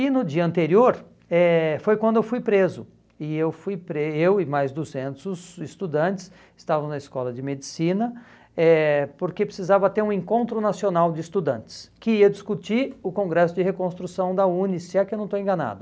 E no dia anterior, eh foi quando eu fui preso, e eu fui pre eu e mais duzentos estudantes estavam na escola de medicina, eh porque precisava ter um encontro nacional de estudantes, que ia discutir o congresso de reconstrução da UNE, se é que eu não estou enganado.